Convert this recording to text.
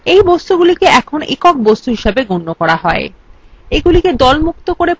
এই বস্তুগুলিকে এখন একক বস্তু হিসাবে গন্য করা হয়